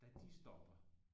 Da de stopper